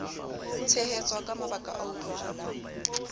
tshehetswa ka mabaka a utlwahalang